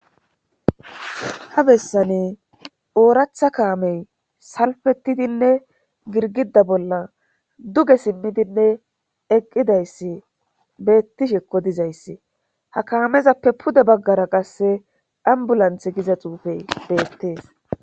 Ha bessane ooratha kaamey salfetidinne girgida bolla duge simmidinne eqqidayssi beettishekko dizayssi ha kaamezappe pude baggara qasse dhambulanth giza xuufey beettees.